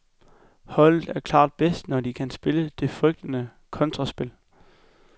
Holdet er klart bedst, når de kan spille det frygtede kontraspil.